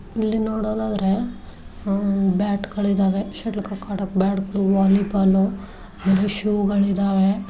ಇಲ್ಲಿ ನೋಡೋದಾದ್ರೆ ಬ್ಯಾಟ್ಶ ಗಳಿದಾವೆ ಶಟಲ್ ಕೋಕ್ ಆಡೋಕ್ಕೆ ಬ್ಯಾಟ್ಗ ಳು ವಾಲಿಬಾಲ್ ಹಾಗು ಶೂ ಗಳು ಇದಾವೆ.